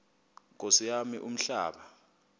nkosi yam umhlaba